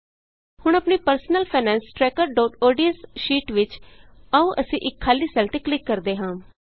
ਹੁਣ ਆਪਣੀ personal finance trackerodsਸ਼ੀਟ ਵਿਚ ਆਉ ਅਸੀਂ ਇਕ ਖਾਲੀ ਸੈੱਲ ਤੇ ਕਲਿਕ ਕਰਦੇ ਹਾਂ